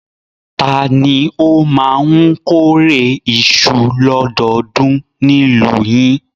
Ta ni ó máa ń kórè iṣu lọ́dọọdún ní ìlú yìí?